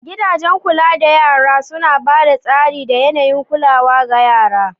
Gidajen kula da yAna suna ba da tsari da yAnayin kulawa ga yara